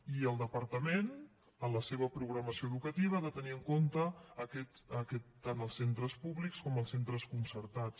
i el departament en la seva programació educativa ha de tenir en compte tant els centres públics com els centres concertats